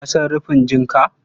Ka san rufin jinka?